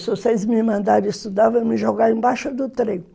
Se vocês me mandarem estudar, vão me jogar embaixo do trem